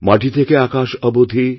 মাটি থেকে আকাশ অবধি